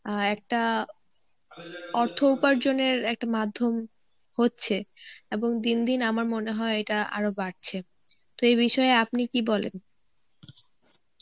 অ্যাঁ একটা অর্থ উপার্জনের একটা মাধ্যম হচ্ছে এবং দিনদিন আমার মনে হয় এটা আরো বাড়ছে. তো এই বিষয়ে আপনি কী বলেন?